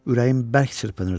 Ürəyim bərk çırpınırdı.